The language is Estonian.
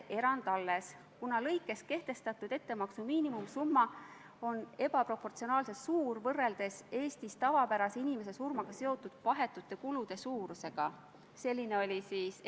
Kolleeg Leo Kunnas rääkis natukene Mali taustast, aga ma küsin, kas teie kui sotsiaaldemokraat toetate mustanahaliste võitlust valgete tuareegidega selles konfliktis.